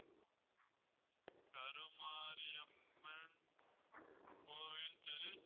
கருமாரியம்மன் கோவில் தெரு